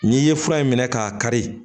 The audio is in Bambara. N'i ye fura in minɛ k'a kari